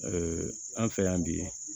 an fɛ yan bi